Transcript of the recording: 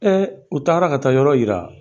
u taara ka taa yɔrɔ yira.